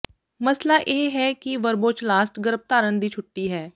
ਮਸਲਾ ਇਹ ਹੈ ਕਿ ਵਰਬੋਚਲਾਸਟ ਗਰੱਭਧਾਰਣ ਦੀ ਛੁੱਟੀ ਹੈ